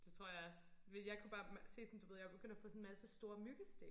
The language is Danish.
Det tror jeg jeg kunne bare se sådan du ved jeg var begyndt at få sådan en masse store myggestik